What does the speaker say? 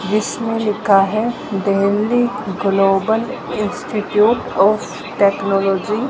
जिसमें लिखा है Delhi global institute of technology.